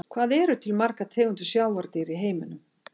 Hvað eru til margar tegundir sjávardýra í heiminum?